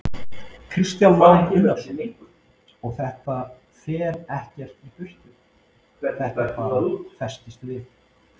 Kristján Már Unnarsson: Og þetta fer ekkert í burtu, þetta bara festist við?